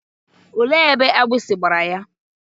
Olee ebe agbịsị gbara ya?